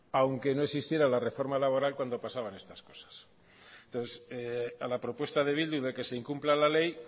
aunque no existiera la reforma laboral cuando pasaban estas cosas entonces a la propuesta de bildu de que se incumpla la ley